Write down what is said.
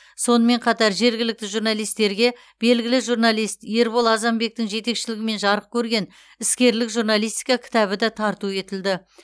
сонымен қатар жергілікті журналистерге белгілі журналист ербол азанбектің жетекшілігімен жарық көрген іскерлік журналистика кітабы да тарту етілді